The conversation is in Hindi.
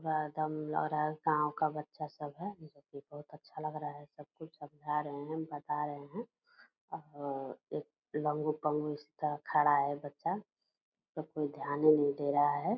पूरा दम लग रहा है गाँव का बच्चा सब है जो कि बहुत अच्छा लग रहा है सब को समझा रहे हैं बता रहे हैं अम एक लंगू-पंगु इस तरह खड़ा है बच्चा जो कोई ध्यान ही नहीं दे रहा है ।